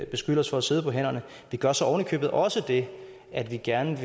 beskylde os for at sidde på hænderne vi gør så oven i købet også det at vi gerne vil